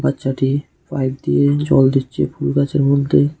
বাচ্চাটি পাইপ দিয়ে জল দিচ্ছে ফুল গাছের মধ্যে।